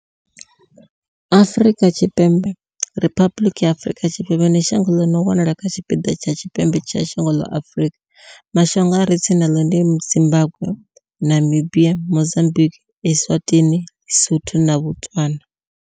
Afrika Tshipembe riphabuḽiki ya Afrika Tshipembe ndi shango ḽi no wanala kha tshipiḓa tsha tshipembe tsha dzhango ḽa Afurika. Mashango a re tsini naḽo ndi Zimbagwe, Namibia, Mozambikwi, Eswatini, ḼiSotho na Botswana.